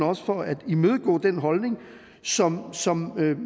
også for at imødegå den holdning som som